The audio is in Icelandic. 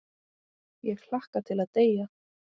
Ég hlakka til að deyja.